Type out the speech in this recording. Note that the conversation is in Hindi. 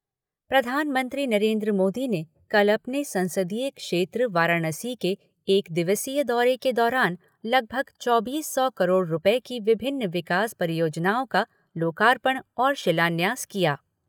प्रधानमंत्री नरेन्द्र मोदी ने कल अपने संसदीय क्षेत्र वाराणसी के एक दिवसीय दौरे के दौरान लगभग चौबीस सौ करोड़ रुपये की विभिन्न विकास परियोजनाओं का लोकार्पण और शिलान्यास किया।